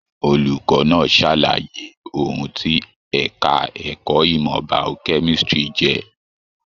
Olùkọ náà sàlàyé ohùn tí ẹka ẹ̀kọ́ ìmọ biochemistry jẹ.